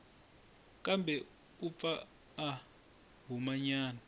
kambe u pfa a humanyana